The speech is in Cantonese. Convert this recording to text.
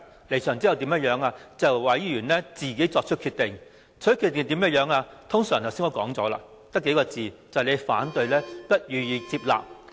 我們離場後便由委員作出決定，他們的決定通常表明"我們的反對意見不被接納"。